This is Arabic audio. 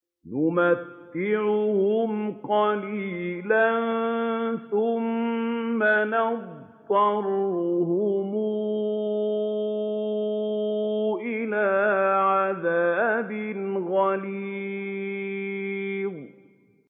نُمَتِّعُهُمْ قَلِيلًا ثُمَّ نَضْطَرُّهُمْ إِلَىٰ عَذَابٍ غَلِيظٍ